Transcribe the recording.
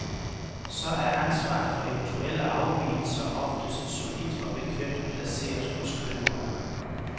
Så er ansvaret for eventuelle afvigelser oftest solidt og bekvemt placeret hos køberen.